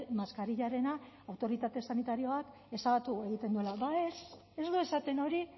maskarillarena autoritate sanitarioak ezabatu egiten duela ez ez du esaten hori